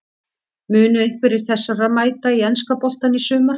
Munu einhverjir þessara mæta í enska boltann í sumar?